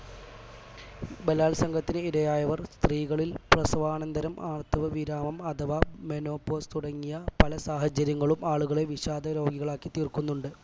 ബലാത്സംഗത്തിന് ഇരയായവർ സ്ത്രീകളിൽ പ്രസവാനന്തരം ആർത്തവ വിരാമം അഥവാ menopause തുടങ്ങിയ പല സാഹചര്യങ്ങളും ആളുകളെ വിഷാദരോഗികളാക്കിത്തീർക്കുന്നുണ്ട്